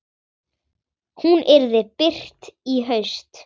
Hún yrði birt í haust.